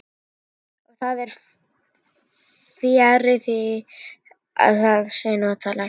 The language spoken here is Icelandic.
Og það er fjarri því að það sé notalegt.